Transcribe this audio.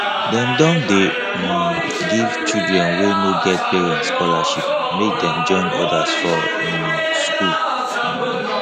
dem don dey um give children wey no get parents scholarship make dem join others for um skool